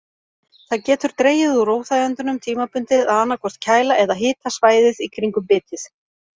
Það getur dregið úr óþægindunum tímabundið að annaðhvort kæla eða hita svæðið í kringum bitið.